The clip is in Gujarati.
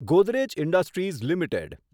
Godrej industries limited